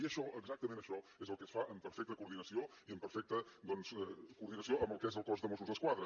i això exactament això és el que es fa en perfecta coordinació i en perfecta doncs coordinació amb el que és el cos de mossos d’esquadra